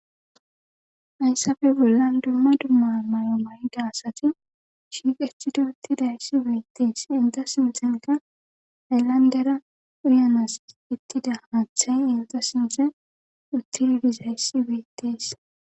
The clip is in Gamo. hayssafe bollan dumma dumma mayo mayda asati shiiqetidi uttidayssi bettees hinte sinthenka hayllandera uyanas uttida haaththay hinte sinthe uttidizayssi bettees